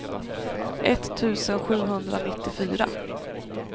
etttusen sjuhundranittiofyra